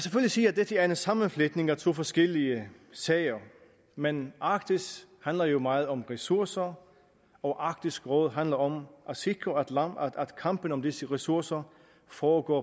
sige at dette er en sammenfletning af to forskellige sager men arktis handler jo meget om ressourcer og arktisk råd handler om at sikre at kampen om disse ressourcer foregår